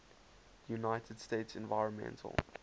united states environmental